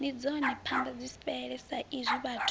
ndi dzone ambadzifhele saizwi vhathu